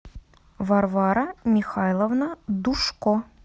варвара михайловна душко